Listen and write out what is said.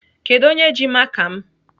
Kedụ onye ji maka m?